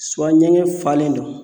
ɲɛgɛn falen don